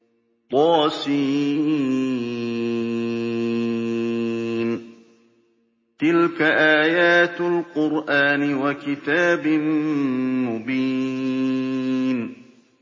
طس ۚ تِلْكَ آيَاتُ الْقُرْآنِ وَكِتَابٍ مُّبِينٍ